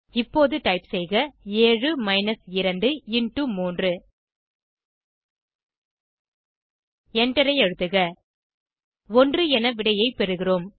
இப்போது டைப் செய்க 7 minus 2 into 3 எண்டரை அழுத்துக 1 என விடையை பெறுகிறோம்